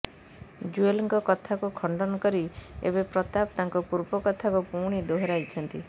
ଜୁଏଲଙ୍କ କଥାକୁ ଖଣ୍ଡନ କରି ଏବେ ପ୍ରତାପ ତାଙ୍କ ପୂର୍ବ କଥାକୁ ପୁଣି ଦୋହରାଇଛନ୍ତି